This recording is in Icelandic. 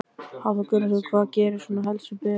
Hafþór Gunnarsson: Hvað gerir þú svona helst við berin?